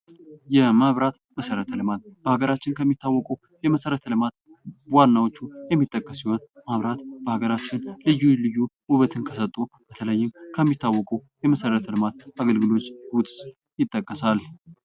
የመብራት መሠረተ ልማት በሀገራችን ከሚታወቁ የመሠረተ ልማት ዋናዎቹ የሚጠቀሱ ሲሆኑ መብራት በሀገራችን ልዩ ልዩ ውበትን ከሰጡ የተለያዩ ከሚታወቁ መሠረተ ልማት አገልግሎት ውስጥ ይጠቀሳል።